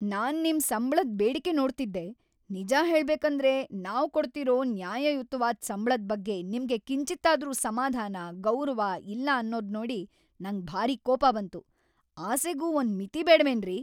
ನಾನ್ ನಿಮ್ ಸಂಬ್ಳದ್ ಬೇಡಿಕೆ ನೋಡ್ತಿದ್ದೆ, ನಿಜ ಹೇಳ್ಬೇಕಂದ್ರೆ, ನಾವ್ ಕೊಡ್ತಿರೋ ನ್ಯಾಯಯುತ್ವಾದ್ ಸಂಬ್ಳದ್‌ ಬಗ್ಗೆ ನಿಮ್ಗೆ ಕಿಂಚಿತ್ತಾದ್ರೂ ಸಮಾಧಾನ, ಗೌರವ ಇಲ್ಲ ಅನ್ನೋದ್ನೋಡಿ ನಂಗ್‌ ಭಾರಿ ಕೋಪ ಬಂತು, ಆಸೆಗೂ ಒಂದ್‌ ಮಿತಿ ಬೇಡ್ವೇನ್ರಿ!